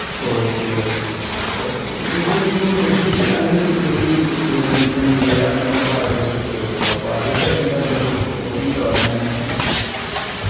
okey okay okay ഇപ്പൊ അതിനിപ്പോ Messi അതിനു മെസ്സി വിരമിക്കണ്ണ്ട് അങ്ങനൊക്കെ അപ്പൊ അതൊക്കെ എന്താ അതേ കുറിച്ചിട്ട് ഇണ്ടോ അതങ്ങനെ